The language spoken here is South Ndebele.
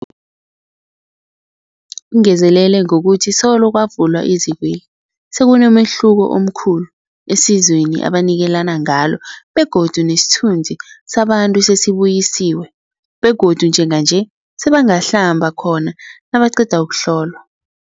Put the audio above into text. Ungezelele ngokuthi solo kwavulwa izikweli, sekunomehluko omkhulu esizweni ebanikelana ngalo begodu nesithunzi sabantu sesibuyisiwe begodu njenganje sebangahlamba khona nabaqeda ukuhlolwa.